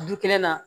Du kelen na